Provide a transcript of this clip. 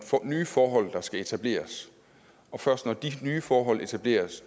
nye forhold der skal etableres først når de nye forhold etableres